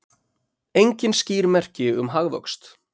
Engin skýr merki um hagvöxt